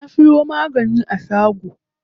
Na siyo magani a shago.